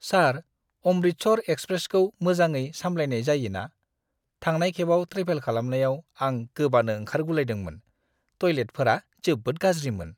सार, अमृतसर एक्सप्रेसखौ मोजाङै सामलायनाय जायो ना? थांनाय खेबाव ट्रेभेल खालामनायाव आं गोबानो ओंखारगुलायदोंमोन! टयलेटफोरा जोबोद गाज्रिमोन!